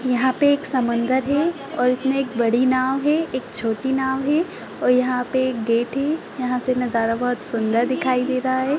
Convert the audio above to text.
यहाँ पे एक समंदर है और इसमें एक बड़ी नाव है एक छोटी नाव है और यहाँ पे एक गेट है यहाँ पे नज़ारा बहोत सुंदर दिखाई दे रहा है।